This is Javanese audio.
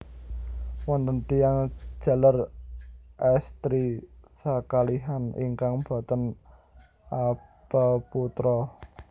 Wonten tiyang jaler èstri sakalihan ingkang boten apeputra